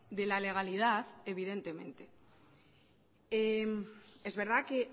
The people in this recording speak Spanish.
de la legalidad evidentemente es verdad que